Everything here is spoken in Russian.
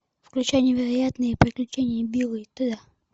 включай невероятные приключения билла и теда